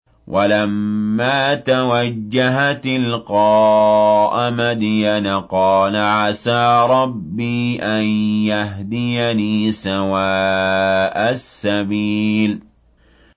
وَلَمَّا تَوَجَّهَ تِلْقَاءَ مَدْيَنَ قَالَ عَسَىٰ رَبِّي أَن يَهْدِيَنِي سَوَاءَ السَّبِيلِ